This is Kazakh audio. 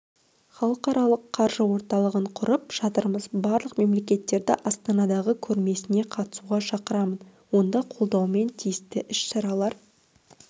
халықаралық қаржы орталығын құрып жатырмыз барлық мемлекеттерді астанадағы көрмесіне қатысуға шақырамын онда қолдауымен тиісті іс-шаралар